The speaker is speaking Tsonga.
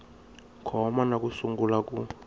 koma na ku sungula ku